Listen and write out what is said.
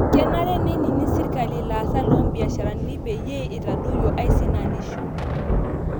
Kenare neinining' sirkali ilaasak loombiasharani peyie itadoyuo aisinanisho